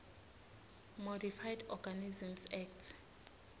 modified organisms act